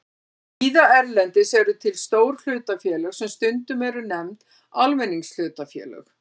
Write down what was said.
Víða erlendis eru til stór hlutafélög sem stundum eru nefnd almenningshlutafélög.